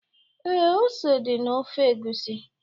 Ee, ose di na ofe egusi